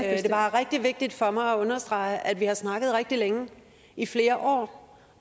er bare rigtig vigtigt for mig at understrege at vi har snakket rigtig længe i flere år